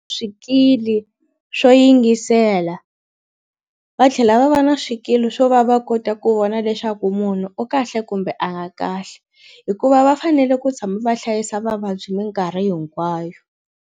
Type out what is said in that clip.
Swikili swo yingisela va tlhela va va na swikili swo va va kota ku vona leswaku munhu u kahle kumbe a nga kahle hikuva va fanele ku tshama va hlayisa vavabyi minkarhi hinkwayo.